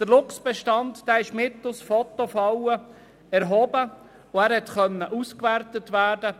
Er ist mithilfe von Fotofallen erhoben worden und konnte ausgewertet werden.